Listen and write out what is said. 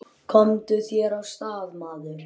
Komdu þér af stað, maður!